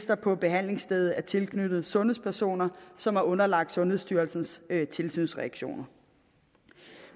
der på behandlingsstedet er tilknyttet sundhedspersoner som er underlagt sundhedsstyrelsens tilsynsreaktioner